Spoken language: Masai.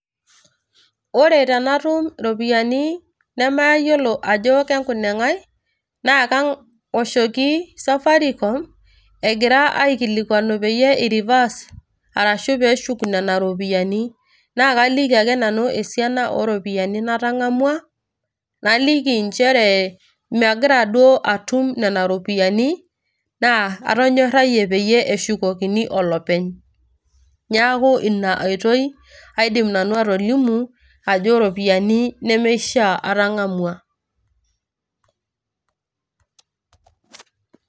Ore tenatum ropiyaiani namayiolo ajo kenkuneng'ae, na kawoshoki safaricom, egira aikilikwanu peyie irivas arashu peshuk nena ropiyaiani. Na kaliki ake nanu esiana oropiyiani natang'amua, naliki njere magira duo atum nena ropiyaiani, na atonyorrayie peyie eshukokini olopeny. Neeku ina oitoi aidim nanu atolimu, ajo iropiyiani nemeishaa atang'amua.